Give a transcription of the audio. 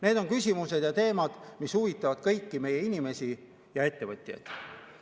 Need on küsimused ja teemad, mis huvitavad kõiki meie inimesi ja ettevõtjaid.